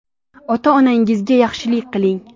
Ota-onangizga yaxshilik qiling.